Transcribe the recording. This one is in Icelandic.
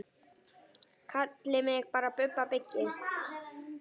Kallið mig bara Bubba byggi.